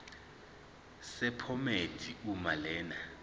sephomedi uma lena